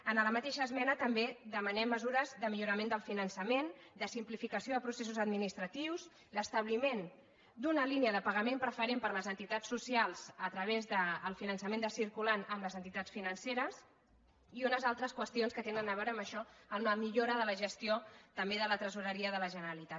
en la mateixa esme·na també demanem mesures de millorament del finan·çament de simplificació de processos administratius l’establiment d’una línia de pagament preferent per a les entitats socials a través del finançament de circu·lant amb les entitats financeres i unes altres qüestions que tenen a veure amb això amb la millora de la ges·tió també de la tresoreria de la generalitat